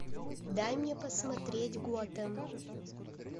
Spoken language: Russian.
дай мне посмотреть готэм